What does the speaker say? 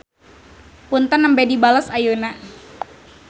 Punten nembe dibales ayeuna.